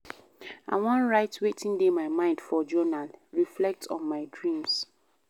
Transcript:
I wan write wetin dey my mind for journal, reflect on my dreams.